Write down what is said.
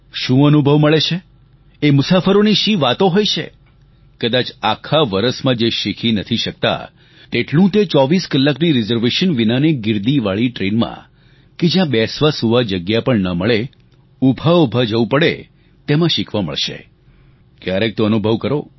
શું અનુભવ મળે છે એ મુસાફરોની શી વાતો હોય છે કદાચ આખા વરસમાં જે શીખી નથી શકતા તેટલું એ 24 કલાકની રીઝર્વેશન વિનાની ગીર્દીવાળી ટ્રેનમાં કે જ્યાં બેસવાસુવા જગ્યા પણ ન મળે ઉભાઉભા જવું પડે તેમાં શીખવા મળશે ક્યારેક તો અનુભવ કરો